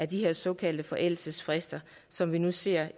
de her såkaldte forældelsesfrister som vi nu ser